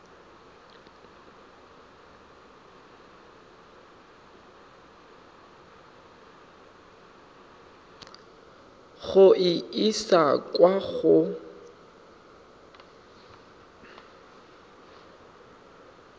go e isa kwa go